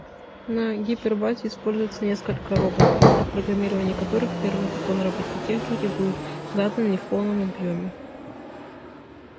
на гипербазе используется несколько роботов при программировании которых первый закон робототехники был задан не в полном объёме